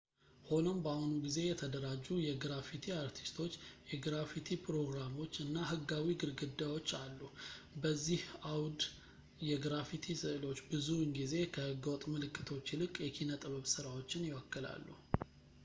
ሆኖም በአሁኑ ጊዜ የተደራጁ የግራፊቲ አርቲስቶች የግራፊቲ ፕሮግራሞች እና ህጋዊ ግድግዳዎች አሉ በዚህ አውድ የግራፊቲ ስዕሎች ብዙውን ጊዜ ከህገ-ወጥ ምልክቶች ይልቅ የኪነ-ጥበብ ስራዎችን ይወክላሉ